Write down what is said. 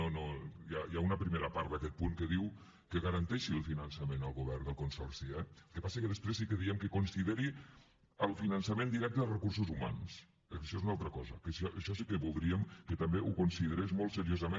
no no hi ha una primera part d’aquest punt que diu que garanteixi el finançament el govern del consorci eh el que passa que després sí que diem que consideri el finançament directe dels recursos humans eh que això és una altra cosa que això sí que voldríem que també ho considerés molt seriosament